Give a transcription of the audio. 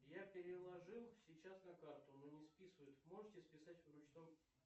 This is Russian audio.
я переложил сейчас на карту но не списывают можете списать в ручном